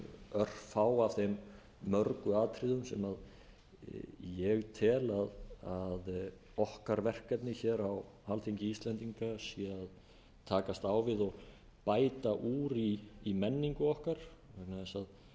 örfá af þeim mörgu atriðum sem ég tel að okkar verkefni hér á alþingi íslendinga sé að takast á við og bæta úr í menningu okkar vegna þess að